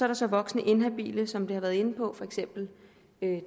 der så voksne inhabile som vi har været inde på for eksempel